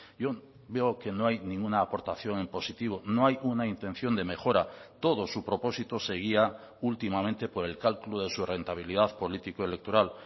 yo veo que no hay ninguna aportación en positivo no hay una intención de mejora todo su propósito se guía últimamente por el cálculo de su rentabilidad político electoral